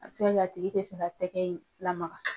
A bi se ka kɛ a tigi te se ka tɛgɛ in lamaka